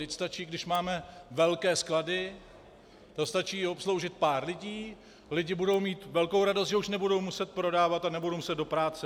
Vždyť stačí, když máme velké sklady, to stačí obsloužit pár lidí, lidi budou mít velkou radost, že už nebudou muset prodávat a nebudou muset do práce.